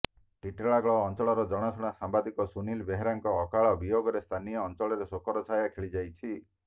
ଟିଟଲାଗଡ ଅଞ୍ଚଳର ଜଣାଶୁଣା ସାମ୍ବାଦିକ ସୁନିଲ ବେହେରାଙ୍କ ଅକାଳ ବିୟୋଗରେ ସ୍ଥାନୀୟ ଅଞ୍ଚଳରେ ଶୋକର ଛାୟା ଖେଳିଯାଇଛି